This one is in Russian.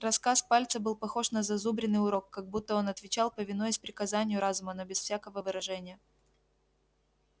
рассказ пальца был похож на зазубренный урок как будто он отвечал повинуясь приказанию разума но без всякого выражения